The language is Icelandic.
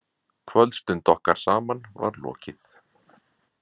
Kvöldstund okkar saman var lokið.